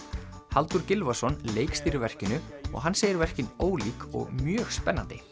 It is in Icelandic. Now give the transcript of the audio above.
Halldór Gylfason leikstýrir verkinu og hann segir verkin ólík og mjög spennandi